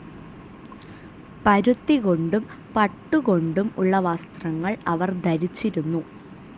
പരുത്തികൊണ്ടും പട്ടുകൊണ്ടും ഉള്ള വസ്ത്രങ്ങൾ അവർ ധരിച്ചിരുന്നു.